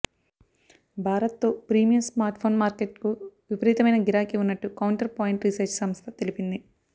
భారత్తో premium smartphone మార్కెట్కు విపరీతమైన గిరాకీ ఉన్నట్టు కౌంటర్ పాయింట్ రీసెర్చ్ సంస్థ తెలిపింది